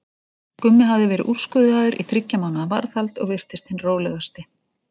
Gummi hafði verið úrskurðaður í þriggja mánaða varðhald og virtist hinn rólegasti.